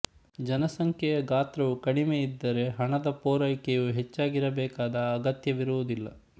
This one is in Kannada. ಜನಸಂಖ್ಯೆಯ ಗಾತ್ರವು ಕಡಿಮೆ ಇದ್ದರೆ ಹಣದ ಪೂರೈಕೆಯು ಹೆಚ್ಚಾಗಿರಬೇಕಾದ ಅಗತ್ಯವಿರುವುದಿಲ್ಲ